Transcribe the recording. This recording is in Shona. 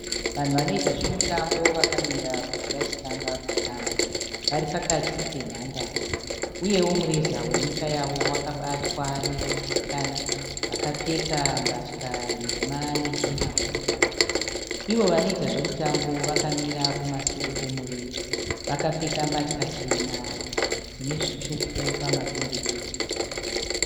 Vanhu vanoita zvemutambo vakamira kuti vachitanga kutamba. Vari pakati penhandare uyewo mureza wenyika yavo wakabatwa nevechisikana vakapfeka mbatya nhema nechena kumusoro. Ivo vanoita zvemutambo vakamira kumasure kwemureza vakapfeka mbatya chena dzine zvitsvuku pamapendekete.